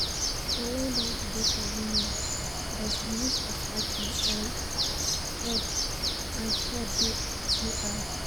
Online banking dey convenient, but di risk of hacking and fraud and fraud dey too high.